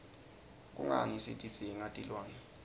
kungani sitidzinga tilwne